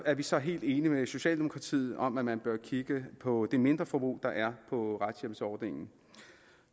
er vi så helt enige med socialdemokratiet om at man bør kigge på det mindreforbrug der er på retshjælpsordningen